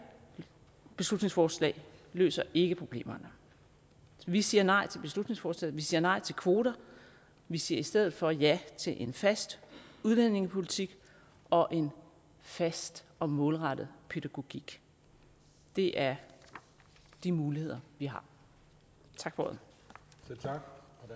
beslutningsforslag løser ikke problemerne vi siger nej til beslutningsforslaget vi siger nej til kvoter vi siger i stedet for ja til en fast udlændingepolitik og en fast og målrettet pædagogik det er de muligheder vi har tak for ordet